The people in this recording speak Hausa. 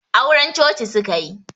Auren coci suka yi